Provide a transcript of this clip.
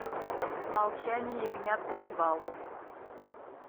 молчание ягнят ганнибал